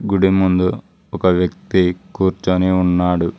గుడి ముందు ఒక వ్యక్తి కూర్చొని ఉన్నాడు.